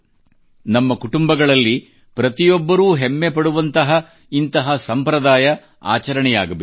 ನಮ್ಮ ಕುಟುಂಬಗಳಲ್ಲಿ ಪ್ರತಿಯೊಬ್ಬರೂ ಹೆಮ್ಮೆ ಪಡುವಂತಹ ಇಂತಹ ಸಂಪ್ರದಾಯ ಆಚರಣೆಯಾಗಬೇಕು